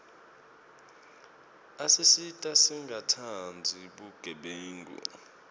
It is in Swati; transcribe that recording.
asisita singatsandzi bugebengu